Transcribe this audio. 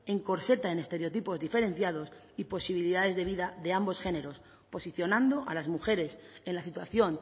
encorseta en estereotipos diferenciados y posibilidades de vida de ambos géneros posicionando a las mujeres en la situación